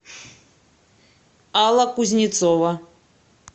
алла кузнецова